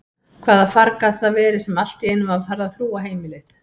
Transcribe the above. Hvaða farg gat það verið sem alltíeinu var farið að þrúga heimilið?